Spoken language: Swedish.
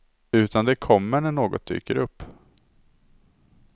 Utan det kommer när något dyker upp.